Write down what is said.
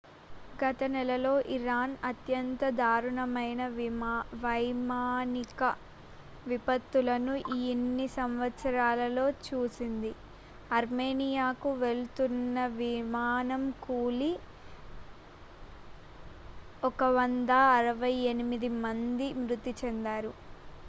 గత నెలలో ఇరాన్ అత్యంత దారుణమైన వైమానిక విపత్తును ఇన్ని సంవత్సరాలలో చూసింది ఆర్మేనియాకు వెళ్తున్న విమానం కూలి 168 మంది మృతి చెందారు